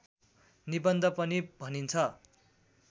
निबन्ध पनि भनिन्छ